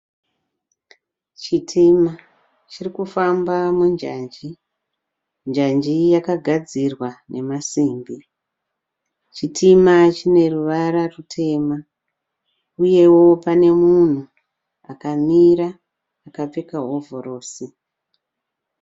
Chitima chirikufamba munjanji. Njanji yakagadzirwa nemasimbi. Chitima chine ruvara rutema. Uyewo pane munhu akamira akapfeka hovhorosi.